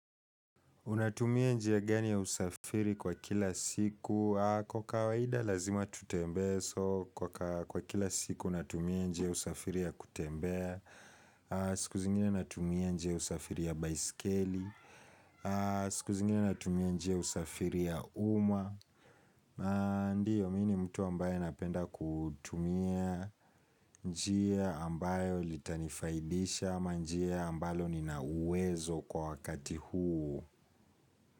Unatumia njia gani ya usafiri kwa kila siku, kwa kawaida lazima tutembee, so kwa kila siku natumia njia usafiri ya kutembea, siku zingine natumia njia usafiri ya baiskeli, siku zingine natumia njia usafiri ya umma, ndiyo mi ni mtu ambaye napenda kutumia njia ambayo litanifaidisha ama njia ambalo nina uwezo kwa wakati huu.